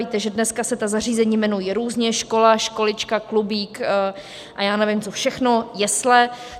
Víte, že dneska se ta zařízení jmenují různě - škola, školička, klubík a já nevím co všechno, jesle.